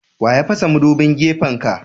Wa ya fasa madubin gefen ka.?